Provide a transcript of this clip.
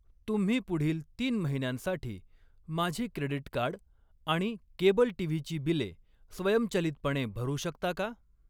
तुम्ही पुढील तीन महिन्यांसाठी माझी क्रेडीट कार्ड आणि केबल टीव्हीची बिले स्वयंचलितपणे भरू शकता का?